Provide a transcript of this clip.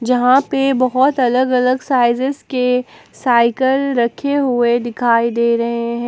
यहां पे बहोत अलग अलग साइजेज के साइकल रखे हुए दिखाई दे रहे हैं।